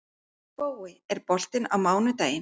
Spói, er bolti á mánudaginn?